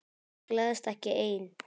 Gleðst ekki ein.